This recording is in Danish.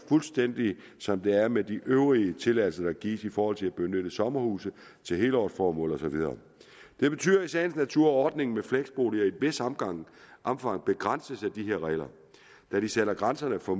fuldstændig som det er med de øvrige tilladelser der gives i forhold til at benytte sommerhusene til helårsformål og så videre det betyder i sagens natur at ordningen med fleksboliger i et vist omfang omfang begrænses af de her regler da de sætter grænser for